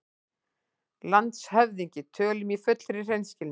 LANDSHÖFÐINGI: Tölum í fullri hreinskilni